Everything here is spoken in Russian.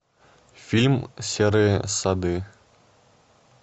фильм серые сады